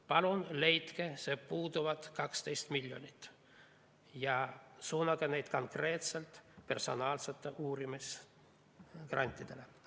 Palun leidke puuduvad 12 miljonit ja suunake need konkreetselt personaalsetele uurimisgrantidele.